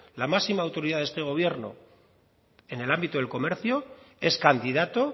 la máxima autoridad de este gobierno en el ámbito del comercio es candidato